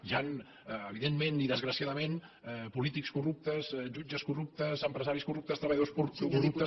hi ha evidentment i desgraciadament polítics corruptes jutges corruptes empresaris corruptes treballadors corruptes